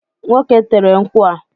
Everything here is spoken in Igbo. Nwoke tere nkwụ a